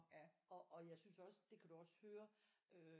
Og jeg synes også det kan du også høre